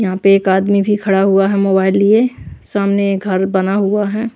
यहां पे एक आदमी भी खड़ा हुआ है मोबाइल लिए सामने घर बना हुआ है।